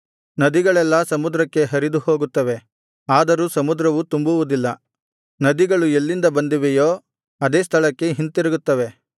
ನದಿಗಳೆಲ್ಲಾ ಸಮುದ್ರಕ್ಕೆ ಹರಿದು ಹೋಗುತ್ತವೆ ಆದರೂ ಸಮುದ್ರವು ತುಂಬುವುದಿಲ್ಲ ನದಿಗಳು ಎಲ್ಲಿಂದ ಬಂದಿವೆಯೋ ಅದೇ ಸ್ಥಳಕ್ಕೆ ಹಿಂತಿರುಗುತ್ತವೆ